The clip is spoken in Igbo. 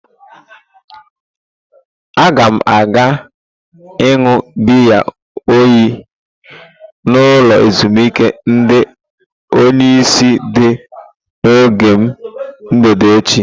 Aga m aga iṅụ biya oyi n'ụlọ ezimuike ndi onyeisi dị n'ógbè m mgbede eche.